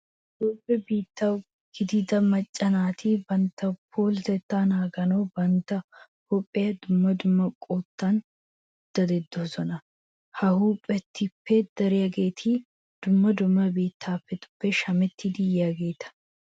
Toophphiya biittaawa gidida macca naati bantta puulatettaa naaganawu bantta huuphiya dumma dumma qottan daddoosona. Ha huuphetuppe dariyageeti dumma dumma biittatuppe shamettidi yiyageeta.